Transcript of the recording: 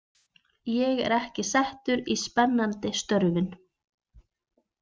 Ég er ekki settur í spennandi störfin.